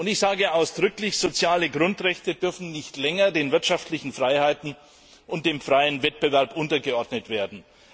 Ich sage ausdrücklich Soziale Grundrechte dürfen nicht länger den wirtschaftlichen Freiheiten und dem freien Wettbewerb untergeordnet werden.